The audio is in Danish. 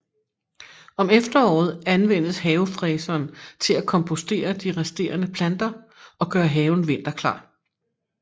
Om efteråret anvendes havefræseren til at kompostere de resterende planter og gøre haven vinterklar